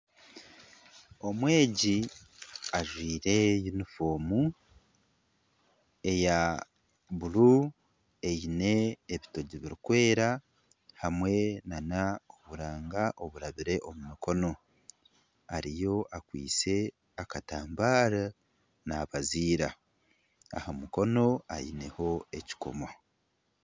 Omwegi ajwaire yunifoomu eya bururu eine ebitogi birikwera hamwe n'oburanga burabire omu mukono. Ariyo akwaitse akatambaara nabaziira. Aha mukono aineho ekikomo.